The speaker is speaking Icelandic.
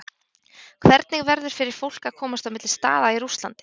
Hvernig verður fyrir fólk að komast á milli staða í Rússlandi?